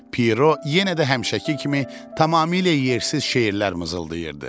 Piero yenə də həmişəki kimi tamamilə yersiz şeirlər mızıldayırdı.